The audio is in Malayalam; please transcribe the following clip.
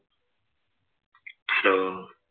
Hello